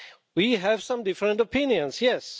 We have some different opinions, yes.